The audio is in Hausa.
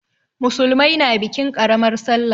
Musulmai na bikin ƙaramar sallah.